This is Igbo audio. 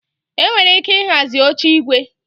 Enwere ike ịhazi oche igwe